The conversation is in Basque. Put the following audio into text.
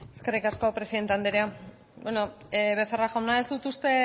eskerrik asko presidente andrea bueno becerra jauna ez dut uste